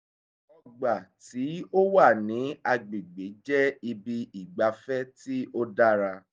ọgbà tí ó wà ní agbègbè jẹ́ ibi ìgbafẹ́ tí ó dára